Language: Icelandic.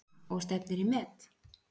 Anna: Og stefnir í met?